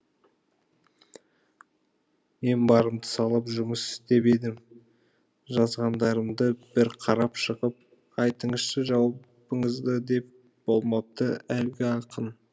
мен барымды салып жұмыс істеп едім жазғандарымды бір қарап шығып айтыңызшы жауабыңызды деп болмапты әлгі ақын